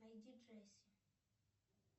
найди джесси